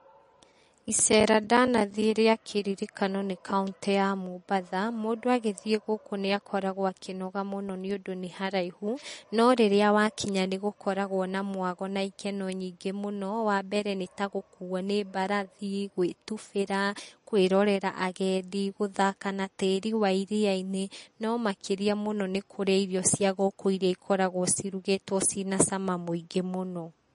Iceera ndanathiĩ rĩa kĩririkano nĩ kauntĩ ya Mombatha. Mũndũ agĩthiĩ gũkũ nĩ akoragwo akĩnoga mũno nĩ ũndũ nĩ haraihu no rĩrĩa wakinya nĩ gũkoragwo na mwago na ikeno nyingĩ mũno. Wa mbere nĩ ta gũkuo nĩ mbarathi, gwĩtubĩra, kwĩrorera agendi, gũthaka na tĩri wa iria-inĩ, no makĩria mũno nĩ kũrĩa irio cia gũkũ iria ikoragwo cirugĩtwo ciĩ na cama mũingĩ mũno.